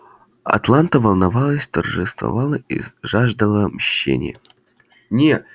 атланта волновалась торжествовала и жаждала мщения не